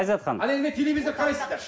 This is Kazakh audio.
айзат ханым ал енді телевизор қарайсыздар